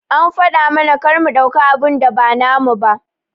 An faɗa mana kar mu ɗauka abun da ba namu ba.